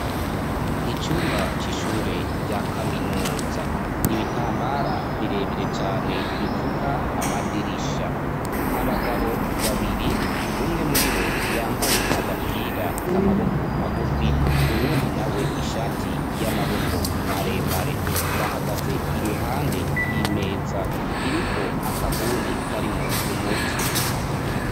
Icumba c'ishure rya kaminuza, ibitambara birebire cane bipfuka amadirisha, abagabo babiri, umwe muri bo yambaye agapira k'amaboko magufi, uwundi na we ishati y'amaboko maremare, bahagaze iruhande y'imeza iriko akabuni karimwo umuti.